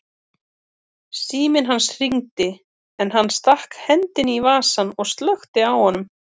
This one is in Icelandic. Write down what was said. Síminn hans hringdi en hann stakk hendinni í vasann og slökkti á honum.